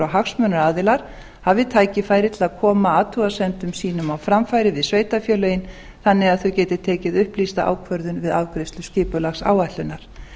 hagsmunaaðilar hafi tækifæri til að koma athugasemdum sínum á framfæri við sveitarfélögin þannig að þau geti tekið upplýsta ákvörðun við afgreiðslu skipulagsáætlunar